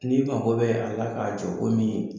N'i mago bɛ a la k'a jɔ komi